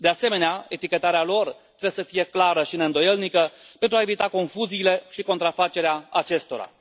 De asemenea, etichetarea lor trebuie să fie clară și neîndoielnică, pentru a evita confuziile și contrafacerea acestora.